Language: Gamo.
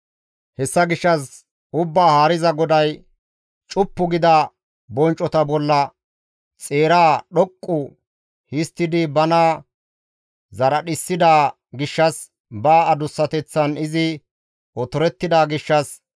«Hessa gishshas Ubbaa Haariza GODAY, ‹Cuppu gida bonccota bolla xeeraa dhoqqu histtidi bana zaradhissida gishshas, ba adussateththan izi otorettida gishshas,